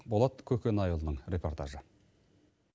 болат көкенайұлының репортажы